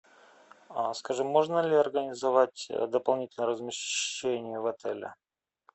скажи можно ли организовать дополнительное размещение в отеле